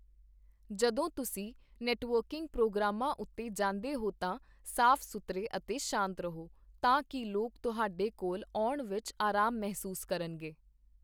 ਜਦੋਂ ਤੁਸੀਂ ਨੈੱਟਵਰਕੀੰਗ ਪ੍ਰੋਗਰਾਮਾਂ ਉੱਤੇ ਜਾਂਦੇ ਹੋ ਤਾਂ ਸਾਫ਼ ਸੁਥਰੇ ਅਤੇ ਸ਼ਾਂਤ ਰਹੋ, ਤਾਂ ਕਿ ਲੋਕ ਤੁਹਾਡੇ ਕੋਲ ਆਉਣ ਵਿੱਚ ਅਰਾਮ ਮਹਿਸੂਸ ਕਰਨਗੇ।